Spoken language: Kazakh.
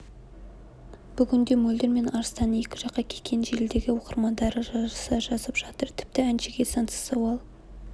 бүгінде мөлдір мен арыстанның екі жаққа кеткенін желідегі оқырмандары жарыса жазып жатыр тіпті әншіге сансыз сауал